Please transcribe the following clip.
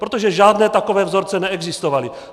Protože žádné takové vzorce neexistovaly.